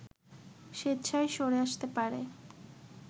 স্বেচ্ছায় সরে আসতে পারে